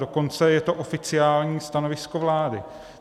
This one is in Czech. Dokonce je to oficiální stanovisko vlády.